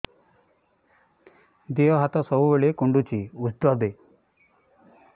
ଦିହ ହାତ ସବୁବେଳେ କୁଣ୍ଡୁଚି ଉଷ୍ଧ ଦେ